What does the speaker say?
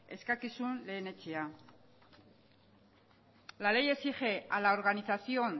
eskakizun lehenetsia la ley exige a la organización